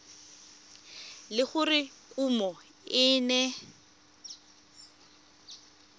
le gore kumo e ne